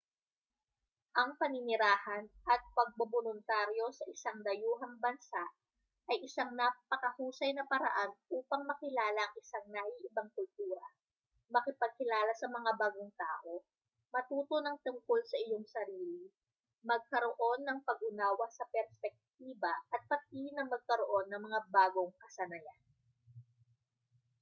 ang paninirahan at pagboboluntaryo sa isang dayuhang bansa ay isang napakahusay na paraan upang makilala ang isang naiibang kultura makipagkilala sa mga bagong tao matuto ng tungkol sa iyong sarili magkaroon ng pag-unawa sa perspektiba at pati na magkaroon ng mga bagong kasanayan